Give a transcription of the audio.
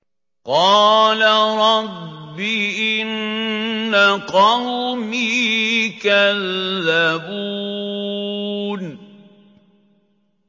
قَالَ رَبِّ إِنَّ قَوْمِي كَذَّبُونِ